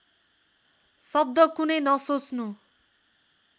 शब्द कुनै नसोच्नु